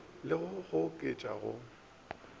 le go le goketša go